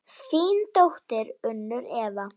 Þín dóttir, Unnur Eva.